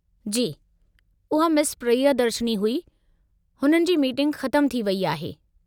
जी, उहा मिस प्रियदर्शिनी हुई, हुननि जी मीटिंग ख़तमु थी वेई आहे।